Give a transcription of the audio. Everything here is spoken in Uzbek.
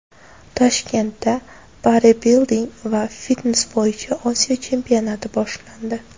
Toshkentda bodibilding va fitnes bo‘yicha Osiyo chempionati boshlandi.